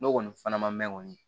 N'o kɔni fana ma mɛn kɔni